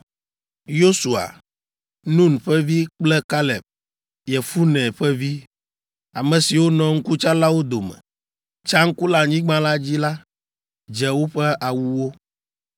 Yosua, Nun ƒe vi kple Kaleb, Yefune ƒe vi, ame siwo nɔ ŋkutsalawo dome, tsa ŋku le anyigba la dzi la, dze woƒe awuwo,